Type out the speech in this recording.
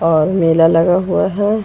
और मेला लगा हुआ है।